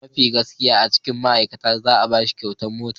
Mafi gaskiya a cikin ma'aikata za'a bashi kyautar mota.